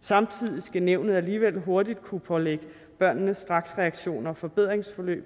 samtidig skal nævnet alligevel hurtigt kunne pålægge børnene straksreaktioner og forbedringsforløb